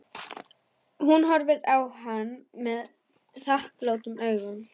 Hún horfði á hann þakklátum augum.